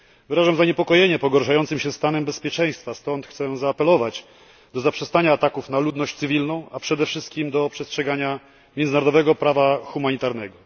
Wyrażam zaniepokojenie pogarszającym się stanem bezpieczeństwa, stąd chcę zaapelować o zaprzestanie ataków na ludność cywilną, a przede wszystkim o przestrzeganie międzynarodowego prawa humanitarnego.